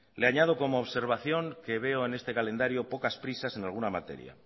le añado como observación que veo en este calendario pocas prisas en alguna materia